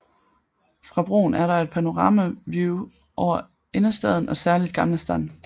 Fra broen er der et panoramavue over Innerstaden og særligt Gamla stan